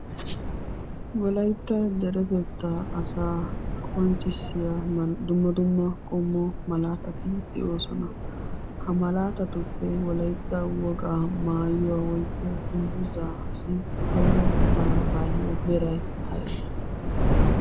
Wolaytta deretettaa asaa qonccissiya dumma dumma qommo malaatati de'oosona. Ha malaatatuppe wolaytta wogaa maayuwa woykko dungguzzaassi koyro malaatay aybee?